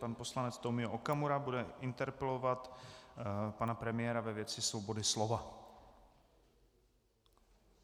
Pan poslanec Tomio Okamura bude interpelovat pana premiéra ve věci svobody slova.